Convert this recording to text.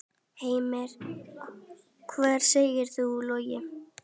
Heimir: Hvað segir þú, Logi?